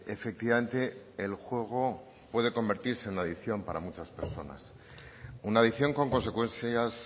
efectivamente el juego puede convertirse en una adicción para muchas personas una adicción con consecuencias